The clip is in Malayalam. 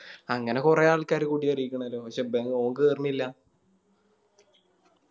അങ്ങനെ കൊറേ ആൾക്കാര് കൂടി അറിയിക്കണല്ലോ പക്ഷെ എന്താ ഓൻ കേറണില്ല